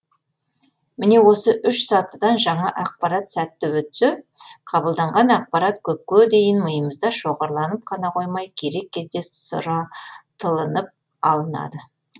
міне осы үш сатыдан жаңа ақпарат сәтті өтсе қабылданған ақпарат көпке дейін миымызда шоғырланып қана қоймай керек кезде сұратылынып алынады